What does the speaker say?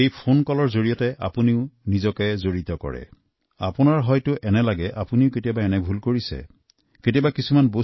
মই এনে এক ফোন কলৰ কথা এতিয়া কব বিচাৰো যিটো শুনি আপোনালোকৰ মনত এনে লাগিব যে এনে ভুল তো আপোনালোকেও কেতিয়াবা নহয় কেতিয়াবা কৰিছে